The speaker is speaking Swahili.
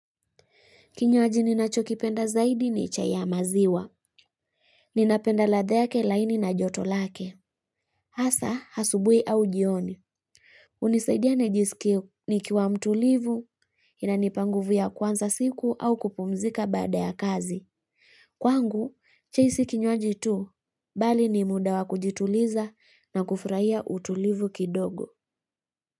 Kinywaji ninachokipenda zaidi ni chai ya maziwa. Ninapenda ladha yake laini na joto lake. Hasa, asubuhi au jioni. Hunisaidia nijisikie nikiwa mtulivu, inanipa nguvu ya kuanza siku au kupumzika baada ya kazi. Kwangu, si hiki kinywaji tu, bali ni muda wa kujituliza na kufurahia utulivu kidogo.